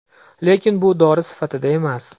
Lekin bu dori sifatida emas.